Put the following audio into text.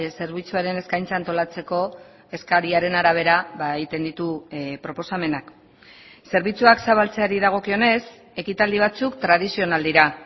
zerbitzuaren eskaintza antolatzeko eskariaren arabera egiten ditu proposamenak zerbitzuak zabaltzeari dagokionez ekitaldi batzuk tradizional dira